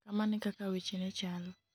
kamano ekaka weche ne chalo